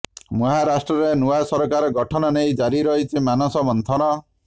ମହାରାଷ୍ଟ୍ରରେ ନୂଆ ସରକାର ଗଠନ ନେଇ ଜାରି ରହିଛି ମାନସମନ୍ଥନ